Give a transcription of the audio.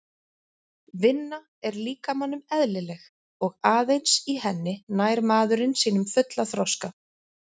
Vinna er líkamanum eðlileg og aðeins í henni nær maðurinn sínum fulla þroska.